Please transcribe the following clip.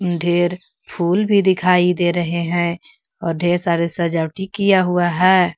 ढेर फूल भी दिखाई दे रहे हैं और ढेर सारे सजावटी किया हुआ है।